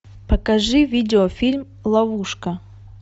покажи видеофильм ловушка